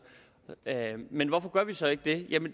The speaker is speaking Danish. men hvorfor gør vi så ikke det